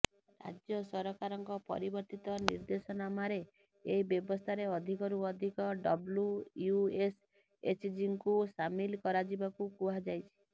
ରାଜ୍ୟ ସରକାରଙ୍କ ପରିବର୍ତ୍ତିତ ନିଦେ୍ର୍ଦଶନାମାରେ ଏହି ବ୍ୟବସ୍ଥାରେ ଅଧିକରୁ ଅଧିକ ଡବ୍ଲୁ୍ୟଏସ୍ଏଚ୍ଜିଙ୍କୁ ସାମିଲ କରାଯିବାକୁ କୁହାଯାଇଛି